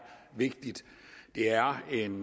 vigtigt det er en